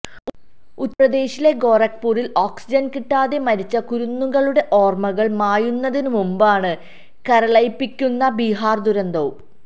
ഉത്തര്പ്രദേശിലെ ഗൊരഖ്പുരില് ഓക്സിജന് കിട്ടാതെ മരിച്ച കുരുന്നുകളുടെ ഓര്മകള് മായുന്നതിനു മുമ്പാണ് കരളലിയിപ്പിക്കുന്ന ബിഹാര് ദുരന്തവും